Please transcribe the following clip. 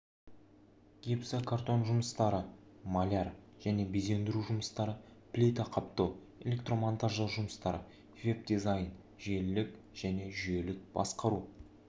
гипсокартон жұмыстары маляр және безендіру жұмыстары плита қаптау электромонтаждау жұмыстары веб-дизайн желілік және жүйелік басқару